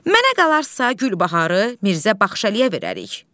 Mənə qalarsa Gülbaharı Mirzə Baxşəliyə verərik.